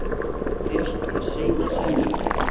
Er ekki rétt að reyna að semja?